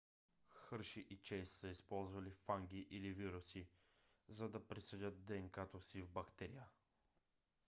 хърши и чейс са използвали фаги или вируси за да присадят днк-то си в бактерия